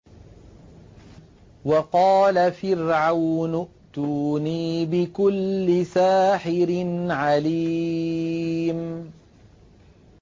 وَقَالَ فِرْعَوْنُ ائْتُونِي بِكُلِّ سَاحِرٍ عَلِيمٍ